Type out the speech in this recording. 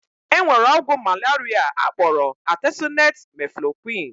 E nwere ọgwụ malaria akpọrọ atesunet-meflokwuin.